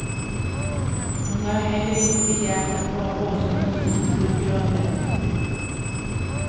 Hon har heller inte begärt att få ha gossen hos sig på sjukrummet.